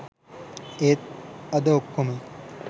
ඒත් අද ඔක්කොම